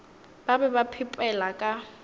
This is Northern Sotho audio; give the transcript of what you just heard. ba be ba phepela ka